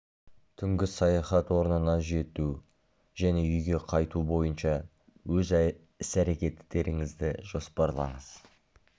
түнгі саяхат орнына жету және үйге қайту бойынша өз іс-әрекеттеріңізді жоспарлаңыз